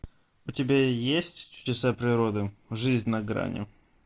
у тебя есть чудеса природы жизнь на грани